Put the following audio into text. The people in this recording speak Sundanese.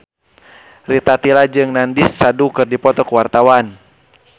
Rita Tila jeung Nandish Sandhu keur dipoto ku wartawan